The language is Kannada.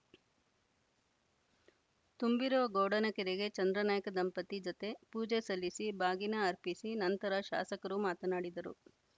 ತುಂಬಿರುವ ಗೌಡನಕೆರೆಗೆ ಚಂದ್ರಾನಾಯ್ಕ ದಂಪತಿ ಜತೆ ಪೂಜೆ ಸಲ್ಲಿಸಿ ಬಾಗಿನ ಅರ್ಪಿಸಿ ನಂತರ ಶಾಸಕರು ಮಾತನಾಡಿದರು